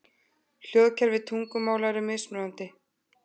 Hljóðkerfi tungumála eru mismunandi.